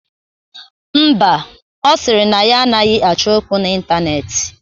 Ḿbà, Ọ sịrị na ya anaghị achọ okwu na Ịntaneetị.